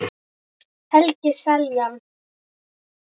Helgi Seljan